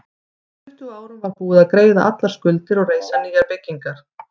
Á tuttugu árum var búið að greiða allar skuldir og reisa nýjar byggingar.